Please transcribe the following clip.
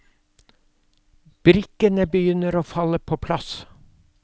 Brikkene begynner å falle på plass.